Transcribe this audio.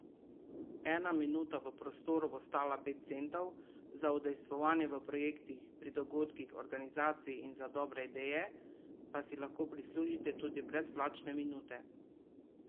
Ena minuta v prostoru bo stala pet centov, za udejstvovanje v projektih, pri dogodkih, organizaciji in za dobre ideje pa si lahko prislužite tudi brezplačne minute.